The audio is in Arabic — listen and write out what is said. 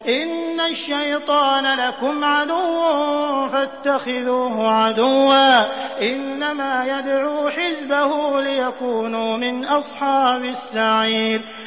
إِنَّ الشَّيْطَانَ لَكُمْ عَدُوٌّ فَاتَّخِذُوهُ عَدُوًّا ۚ إِنَّمَا يَدْعُو حِزْبَهُ لِيَكُونُوا مِنْ أَصْحَابِ السَّعِيرِ